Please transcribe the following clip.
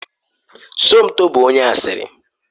Somto bụ onye asịrị.